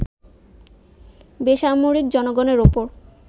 বেসামরিক জনগণের ওপর